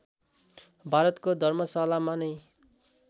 भारतको धर्मशालामा नै